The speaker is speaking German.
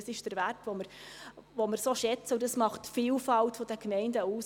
Das ist der Wert, den wir so schätzen, und dies macht die Vielfalt der Gemeinden aus.